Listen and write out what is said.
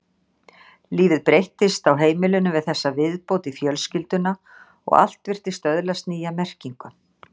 Lífið breyttist á heimilinu við þessa viðbót í fjölskylduna og allt virtist öðlast nýja merkingu.